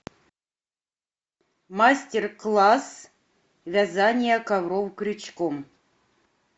мастер класс вязания ковров крючком